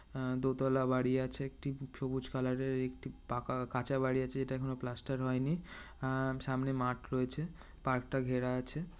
আ-দোতলা বাড়ি আছে। একটি সবুজ কালার এর একটি পাকা কাঁচা বাড়ি আছে। যেটা এখনো প্লাস্টার হয়নি। আ-সামনে মাঠ রয়েছে পার্কটা ঘেরা আছে।